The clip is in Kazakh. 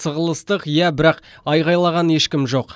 сығылыстық иә бірақ айғайлаған ешкім жоқ